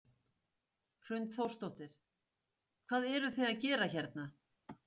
Hrund Þórsdóttir: Hvað eruð þið að gera hérna?